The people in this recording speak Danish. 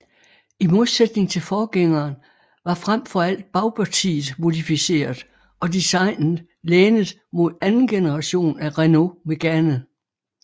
I modsætning til forgængeren var frem for alt bagpartiet modificeret og designet lænet mod anden generation af Renault Mégane